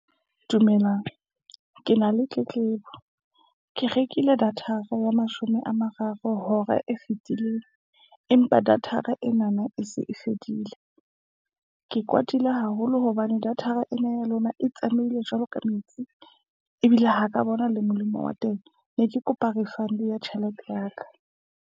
Dumelang. Ke na le tletlebo, ke rekile datara ya mashome a mararo hora e fetileng. Empa datara enana e se e fedile. Ke kwatile haholo hobane datara ena ya lona e tsamaile jwalo ka metsi. Ebile ha ka bona le molemo wa teng. Ne ke kopa refund ya tjhelete ya ka.